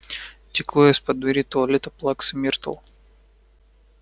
текло из-под двери туалета плаксы миртл